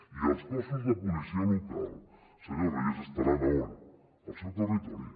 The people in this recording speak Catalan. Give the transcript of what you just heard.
i els cossos de policia local senyor reyes estaran a on al seu territori